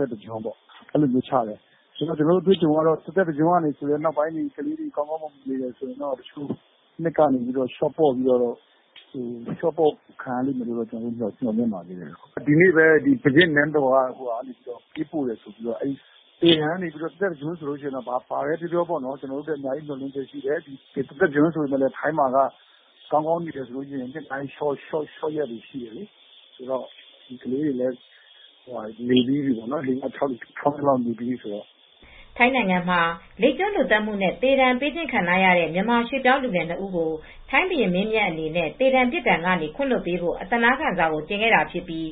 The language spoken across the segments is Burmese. သက်တကျွန်းချလိုက်တယ်။ တသက်တကျွန်းကနေ ဒီကလေးတွေ ကောင်းကောင်းမွန်မွန်နေတယ်ဆိုရင်တော့ နှစ်တွေ လျှော့ပေါ့ခံရမယ်လို့ ကျနော်တို့ မျှော်လင့်တယ်။ ဒီကနေ့ပဲ ဘုရင့်နန်းတော်ကနေ ပေးပို့တယ်ဆိုပြီးတော့ သေဒဏ်ကနေ တသက်တကျွန်းဆို ကျနော်တို့အတွက် အများကြီးမျှော်လင့်ချက်ရှိတယ်။ ထိုင်းမှာက ကောင်းကောင်းနေရင်လျှော့ရက်တွေ ရှိတယ်၊ ကလေးတွေလည်း ၆ နှစ်လောက်နေပြီးပြီပဲ။" ထိုင်းနိုင်ငံမှာ လိပ်ကျွန်းလူသတ်မှုနဲ့သေဒဏ်ပေးခံထားရတဲ့ မြန်မာရွှေ့ပြောင်းလူငယ် နှစ် ဦးကို ထိုင်းဘုရင်းမင်းမြတ်အနေနဲ့ သေဒဏ်ပြစ်ဒဏ်ကနေ ခွင့်လွှတ်ပေးဖို့ အသနားခံစာ ကို တင်ခဲ့တာဖြစ်ပြီး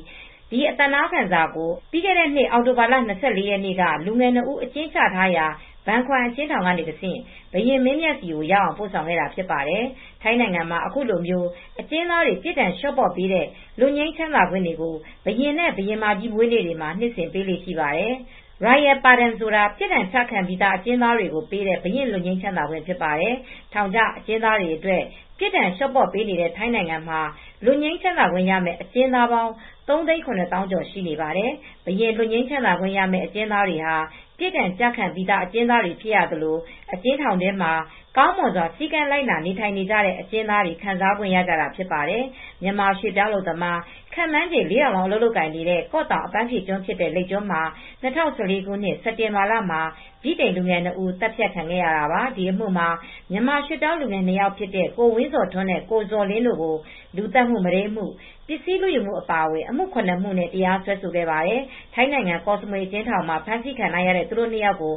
ဒီအသနားခံစာကို ပြီးခဲ့တဲ့ နှစ် အောက်တိုဘာလ၂၄ ရက်နေ့က လူငယ် နှစ်ဦး အကျဉ်းချထားရာ ဘန်ခွမ်အကျဉ်းထောင်က တဆင့် ဘုရင်မင်းမြတ်ဆီရောက်အောင် ပို့ဆောင်ခဲ့တာ ဖြစ်ပါတယ်။ ထိုင်းနိုင်ငံမှာ အခုလိုမျိုး အကျဉ်းသားတွေ ပြစ်ဒဏ်လျှော့ပေးတဲ့ လွတ်ငြိမ်းချမ်းသာခွင့်တွေကို ဘုရင့်နဲ့ ဘုရင်မကြီး မွေးနေ့တွေမှာ နှစ်စဉ်ပေးလေ့ရှိပါတယ်။ Royal pardon ဆိုတာ ပြစ်ဒဏ်ကျခံပြီး အကျဉ်သားတွေကို ပေးတဲ့ ဘုရင့်လွတ်ငြိမ်းခွင့်လည်း ဖြစ်ပါတယ်။ ထောင်ကျအကျဉ်းသားတွေအတွက် ပြစ်ဒဏ်လျှော့ပေါ့ပေးနေတဲ့ ထိုင်းနိုင်ငံမှာ လွတ်ငြိမ်းခွင့်ရမယ့် အကျဉ်းသားပေါင်း ၃၇၉,၂၇၄ ရှိနေပါတယ်။ ဘုရင့်လွတ်ငြိမ်းခွင်းရမယ့် အကျဉ်းသားတွေဟာ ပြစ်ဒဏ်ကျခံပြီး အကျဉ်းသားတွေ ဖြစ်သလို အကျဉ်းထောင်တွင်းမှာကောင်မွန်စွာ စည်းကမ်းလိုက်နာနေထိုင်နေကြတဲ့ အကျဉ်းသားတွေ ခံစားခွင့်ရကြတာဖြစ်ပါတယ်။ မြန်မာရွှေ့ပြောင်းအလုပ်သမား ခန့်မှန်းခြေ ၄,၀၀၀ လောက် အလုပ်လုပ်ကိုင်နေတဲ့ ကော့တောင် အပန်းကျွန်းဖြစ်တဲ့ လိပ်ကျွန်းမှာ ၂၀၁၄ ခုနှစ် စက်တင်ဘာလမှာ ဗြိတိန်လူငယ် နှစ် ဦးသတ်ခံခဲ့ရတာပါ။ ဒီအမှုမှာ မြန်မာရွှေ့ပြောင်းလူငယ် နှစ် ယောက်ဖြစ်တဲ့ ကိုဝင်းဇော်ထွန်းနဲ့ ကိုဇော်လင်းတို့ကို လူသတ်မှု၊ မုဒိမ်းမှု၊ ပစ္စည်းလူယူမှု အပါအဝင် အမှု ၇ မှုနဲ့ တရားစွဲခဲ့ပါတယ်။ ထိုင်းနိုင်ငံကော့စမွေ အကျဉ်းထောင်မှာ ဖမ်းဆီးခံထားရတဲ့ သူတို့ နှစ် ယောက်ကို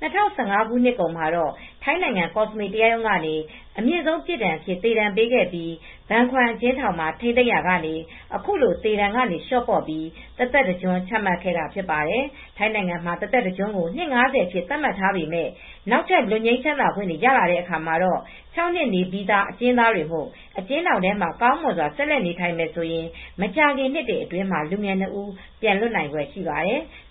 ၂၀၁၅ ခုနှစ်ကုန်မှာတော့ ထိုင်းနိုင်ငံ ကောစမွေတရားရုံးကနေ အမြင့်ဆုံးပြစ်ဒဏ်အဖြစ် သေဒဏ်ပေးခဲ့ပြီး ဘန်ခွမ်အကျဉ်းထောင်မှာ ထိန်းသိမ်းရာကနေ အခုလို သေဒဏ်ကနေ လျှော့ပေါ့ပြီး တသက်တကျွန်း ချမှတ်ခဲ့တာဖြစ်ပါတယ်။ ထိုင်းနိုင်ငံမှာ တသက်တကျွန်းကို နှစ် ၅၀ အဖြစ် သတ်မှတ်ထားပေမဲ့ နောက်ထပ်လွတ်ငြိမ်းချမ်းသာခွင့်တွေ ရတဲ့အခါမှာတော့ ၆ နှစ်နေပြီးသား အကျဉ်းသားတွေမို့ အကျဉ်းထောင်ထဲ ကောင်းမွန်စွာဆက်လက်နေထိုင်မယ်ဆိုရင် မကြာခင်နှစ်တွေအတွင်းမှာ လူငယ် နှစ် ဦး ပြန်လွတ်နိုင်ဖွယ်ရှိပါတယ်။